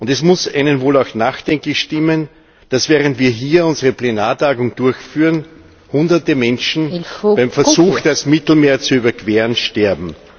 Es muss einen wohl auch nachdenklich stimmen, dass, während wir hier unsere Plenartagung durchführen, Hunderte Menschen beim Versuch, das Mittelmeer zu überqueren, sterben.